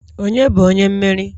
onye bu onye mmeri?